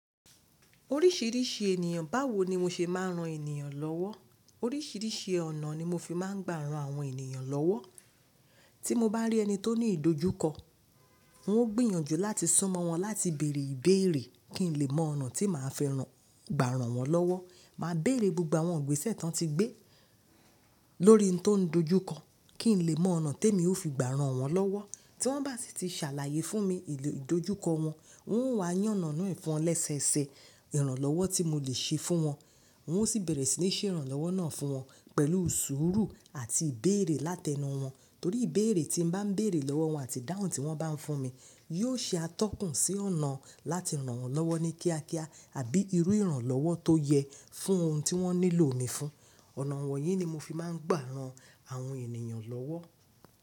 Oríṣìíríṣìí ènìyàn, báwo ni mo ṣe máa ń ran ènìyàn lọ́wọ́? Oríṣìíríṣìí ọ̀nà ni mo fi máa ń gbà ran àwọn ènìyàn lọ́wọ́. Tí mo bá rí ẹni tó ní ìdojúkọ, n ó gbìyànjú láti su mo wọn láti bèrè ìbéèrè kí n lè mọ ọ̀nà tí màá fi mò, gbà ran wọn lọ́wọ́. Màá bèrè gbogbo àwọn ìgbésẹ̀ tán tí gbé lórí ohun tó ń dojúkọ, kí n lè mọ ọ̀nà tí èmi ó fi gbà ran wọ́n lọ́wọ́. Tí wọ́n bá sì ti ṣàlàyé fún mi ìdojúkọ wọn, n ó wá yàn ọ̀nà ee fún wọn lẹ́sẹẹsẹ ẹ, ìrànlọ́wọ́ tí mo lè ṣe fún wọn. N ó sì bẹ̀rẹ̀ sí ní ṣè ìrànlọ́wọ́ náà fún wọn pẹ̀lú sùúrù àti ìbéèrè látẹnu wọn. Torí ìbéèrè tí mo bá ń béèrè lọ́wọ́ wọn àti dáhùn tí wọ́n bá ń fún mi, yóò ṣe atọ́kùn sí ọ̀nà láti ran wọ́n lọ́wọ́ ní kíákíá àbí irú ìrànlọ́wọ́ tó yẹ fún ohun tí wọ́n nílò mi fún. Ọ̀nà wọ̀nyí ni mo fi máa ń gbà ran àwọn ènìyàn lọ́wọ́.